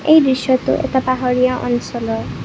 এই দৃশ্যটো এটা পাহাৰীয়া অঞ্চলৰ।